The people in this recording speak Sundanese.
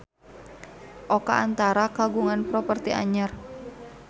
Oka Antara kagungan properti anyar